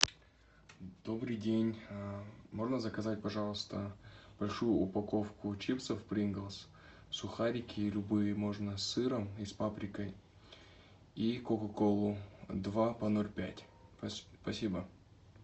добрый день можно заказать пожалуйста большую упаковку чипсов принглс сухарики любые можно с сыром и паприкой и кока колу два по ноль пять спасибо